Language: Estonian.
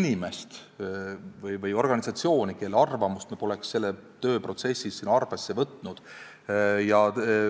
inimest või organisatsiooni, kelle arvamust me poleks selles tööprotsessis arvesse võtnud.